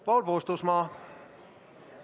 Paul Puustusmaa, palun!